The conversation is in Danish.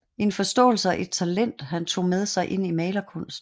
En forståelse og et talent han tog med sig ind i malerkunsten